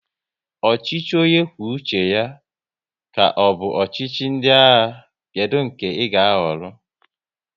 Ọchịchị onye kwuo uche ya ka ọ bụ ọchịchị ndị agha, kedụ nke ị ga ahọrọ?